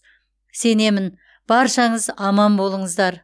сенемін баршаңыз аман болыңыздар